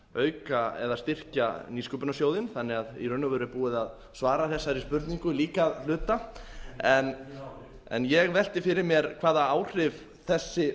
auka eða styrkja nýsköpunarsjóðinn þannig að í raun og veru er búið að svara þessari spurningu líka að hluta en ég velti fyrir mér hvaða áhrif þessi